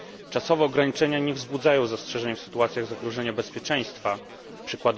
Czasowe ograniczenia nie wzbudzają zastrzeżeń w sytuacjach zagrożenia bezpieczeństwa np.